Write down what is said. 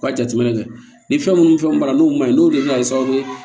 U ka jateminɛ kɛ ni fɛn minnu ni fɛnw bɔra n'o ma ɲi n'olu de bɛ na kɛ sababu ye